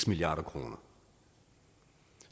milliard kr